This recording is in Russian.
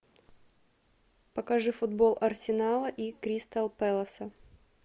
покажи футбол арсенала и кристал пэласа